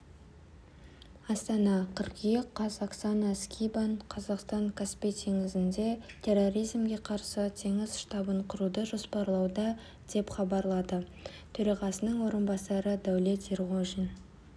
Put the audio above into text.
астана қыркүйек қаз оксана скибан қазақстан каспий теңізінде терроризмге қарсы теңіз штабын құруды жоспарлауда деп хабарлады төрағасының орынбасары дәулет ерғожин